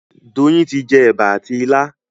Doyin tí jé eba àti ila